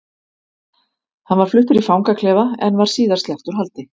Hann var fluttur í fangaklefa en var síðar sleppt úr haldi.